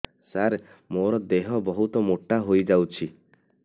ସାର ମୋର ଦେହ ବହୁତ ମୋଟା ହୋଇଯାଉଛି